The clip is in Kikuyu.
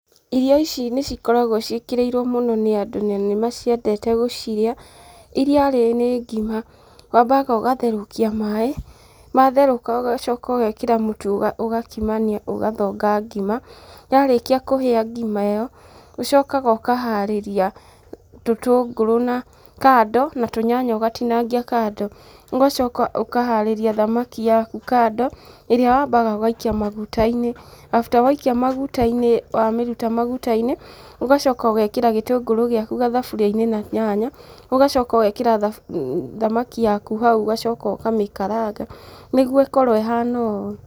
Irio ici nĩ cikoragwo ciĩkĩrĩirwo mũno nĩ andũ, na nĩ maciendete gũcirĩa, iria rĩ nĩ ngima. Wambaga ũgatherũkia maaĩ, matherũka ũgacoka ũgekĩra mũtu ũgakimania ũgathonga ngima, yarĩkia kũhĩa ngima ĩyo, ũcokaga ũkaharĩria tũtũngũrũ kando, na tũnyanya ũgatinangia kando. Ũgacoka ũkaharĩria thamaki yaku kando, ĩrĩa wambaga ũgaikia maguta-inĩ. After waikia maguta-inĩ wamĩruta maguta-inĩ, ũgacoka ũgekĩra gĩtũngũrũ gĩaku gathaburia-inĩ na nyanya, ũgacoka ũgekĩra thamaki yaku hau ũgacoka ũkamĩkaranga nĩguo ĩkorwo ĩhana ũũ.